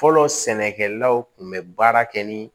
Fɔlɔ sɛnɛkɛlaw kun bɛ baara kɛ ni